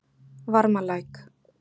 Varmalæk